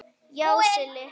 Já, Silli.